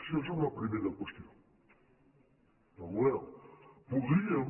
això és una pri·mera qüestió el model